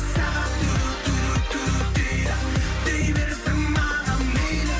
сағат дейді дей берсін маған мейлі